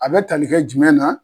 A bɛ tali kɛ jumɛn na.